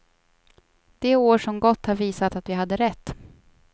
De år som gått har visat att vi hade rätt.